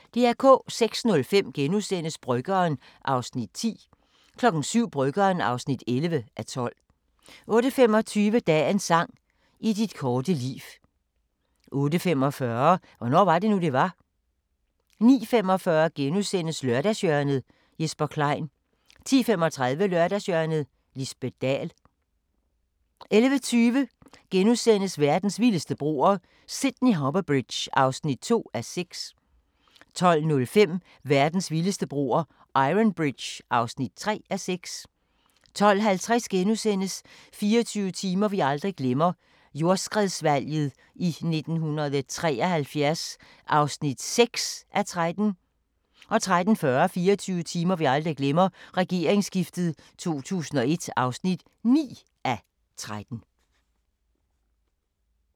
06:05: Bryggeren (10:12)* 07:00: Bryggeren (11:12) 08:25: Dagens sang: I dit korte liv 08:45: Hvornår var det nu, det var? * 09:45: Lørdagshjørnet - Jesper Klein * 10:35: Lørdagshjørnet - Lisbet Dahl 11:20: Verdens vildeste broer – Sydney Harbour Bridge (2:6)* 12:05: Verdens vildeste broer – Iron Bridge (3:6) 12:50: 24 timer vi aldrig glemmer – jordskredsvalget i 1973 (6:13)* 13:40: 24 timer vi aldrig glemmer: Regeringsskiftet i 2001 (9:13)